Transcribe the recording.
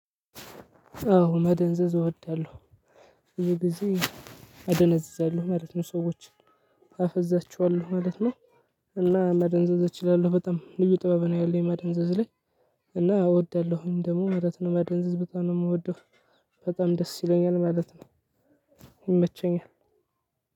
አዎ መደንዘዝ እወዳለሁ ብዙ ጊዜ ኣደነዝዛለሁ ማለት ነው ሰዎችን አፈዛቸዋለው ማለት ነው። እና መደንዘዝ እችላለሁ በጣም ልዩ ጥበብ ነው ያለኝ መደንዘዝ ላይ። እና እወዳለሁኝ ደግሞ ማለት ነው መደንዘዝ በጣም ነው የምወደው በጣም ደስ ይለኛል ማለት ነው።